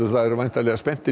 það eru væntanlega spenntir